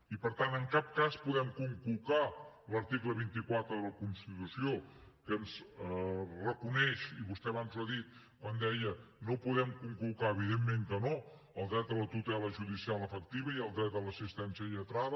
i per tant en cap cas podem conculcar l’article vint quatre de la constitució que ens reconeix i vostè abans ho ha dit quan deia no ho podem conculcar evidentment que no el dret a la tutela judicial efectiva i el dret a l’assistència lletrada